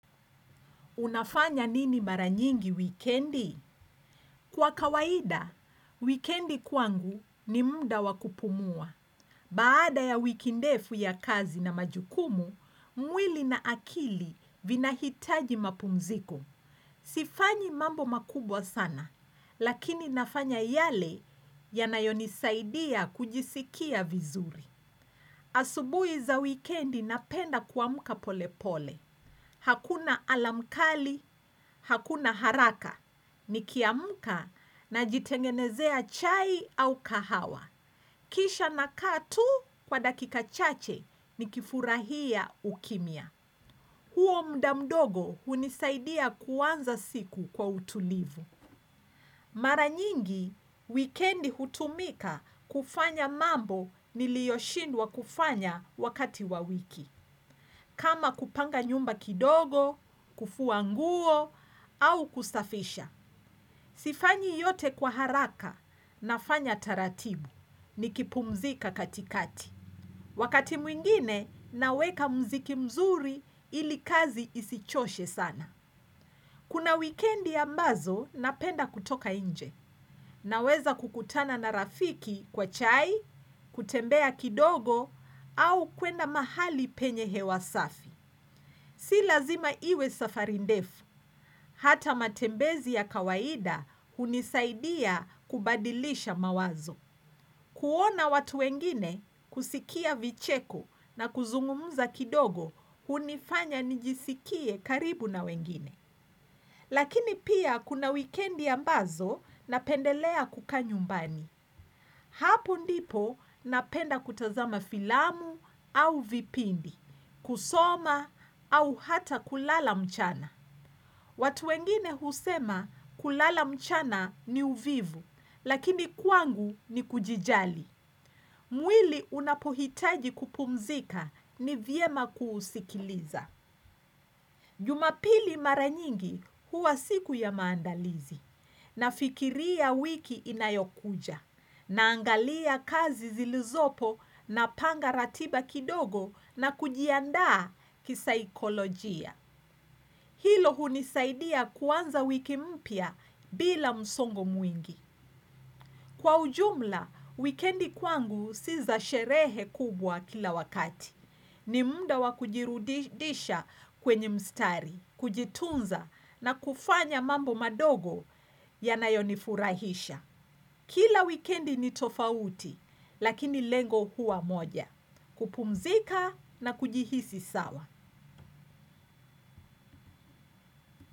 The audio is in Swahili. Unafanya nini mara nyingi wikendi? Kwa kawaida, wikendi kwangu ni muda wa kupumua. Baada ya wiki ndefu ya kazi na majukumu, mwili na akili vinahitaji mapumziko. Sifanyi mambo makubwa sana, lakini nafanya yale yanayonisaidia kujisikia vizuri. Asubuhi za wikendi napenda kuamka polepole. Hakuna alarm kali, hakuna haraka, nikiamka najitengenezea chai au kahawa. Kisha nakaa tu kwa dakika chache nikifurahia ukimya. Huo muda mdogo hunisaidia kuanza siku kwa utulivu. Mara nyingi, wikendi hutumika kufanya mambo niliyoshindwa kufanya wakati wa wiki. Kama kupanga nyumba kidogo, kufua nguo au kusafisha. Sifanyi yote kwa haraka nafanya taratibu nikipumzika katikati. Wakati mwingine naweka muziki mzuri ili kazi isichoshe sana. Kuna wikendi ambazo napenda kutoka nje. Naweza kukutana na rafiki kwa chai, kutembea kidogo au kwenda mahali penye hewa safi. Si lazima iwe safari ndefu, hata matembezi ya kawaida hunisaidia kubadilisha mawazo. Kuona watu wengine kusikia vicheko na kuzungumza kidogo hunifanya nijisikie karibu na wengine. Lakini pia kuna wikendi ambazo napendelea kukaa nyumbani. Hapo ndipo napenda kutazama filamu au vipindi, kusoma au hata kulala mchana. Watu wengine husema kulala mchana ni uvivu, lakini kwangu ni kujijali. Mwili unapohitaji kupumzika ni vyema kuusikiliza. Jumapili mara nyingi huwa siku ya maandalizi. Nafikiria wiki inayokuja. Naangalia kazi zilizopo napanga ratiba kidogo na kujiandaa kisaikolojia. Hilo hunisaidia kuanza wiki mpya bila msongo mwingi. Kwa ujumla, wikendi kwangu si za sherehe kubwa kila wakati. Ni muda wa kujirudisha kwenye mstari, kujitunza na kufanya mambo madogo yanayonifurahisha. Kila wikendi ni tofauti, lakini lengo huwa moja. Kupumzika na kujihisi sawa.